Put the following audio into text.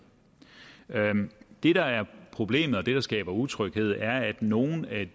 det der er problemet og det der skaber utryghed er at nogle af